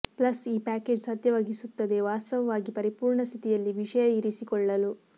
plus ಈ package ಸಾಧ್ಯವಾಗಿಸುತ್ತದೆ ವಾಸ್ತವವಾಗಿ ಪರಿಪೂರ್ಣ ಸ್ಥಿತಿಯಲ್ಲಿ ವಿಷಯ ಇರಿಸಿಕೊಳ್ಳಲು